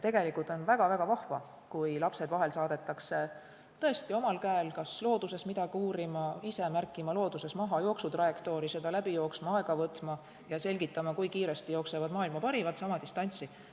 Tegelikult on väga-väga vahva, kui lapsed vahel saadetakse tõesti omal käel kas loodusesse midagi uurima, ise märkima maha jooksu trajektoori, seda läbi jooksma, aega võtma ja selgitama, kui kiiresti jooksevad maailma parimad sama distantsi.